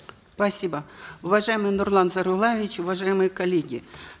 спасибо уважаемый нурлан зайроллаевич уважаемые коллеги